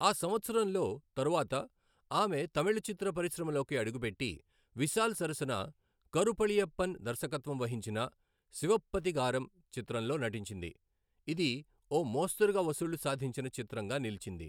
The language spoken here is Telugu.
ఆ సంవత్సరంలో తరువాత, ఆమె తమిళ చిత్ర పరిశ్రమలోకి అడుగుపెట్టి, విశాల్ సరసన కరు పళనియప్పన్ దర్శకత్వం వహించిన శివప్పతిగారం చిత్రంలో నటించింది, ఇది ఓ మోస్తరుగా వసూళ్లు సాధించిన చిత్రంగా నిలిచింది.